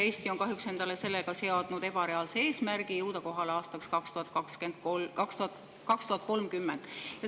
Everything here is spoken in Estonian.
Eesti on kahjuks seadnud endale ebareaalse eesmärgi jõuda sinna kohale aastaks 2030.